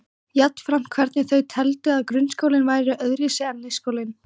Jafnframt hvernig þau teldu að grunnskólinn væri öðruvísi en leikskólinn.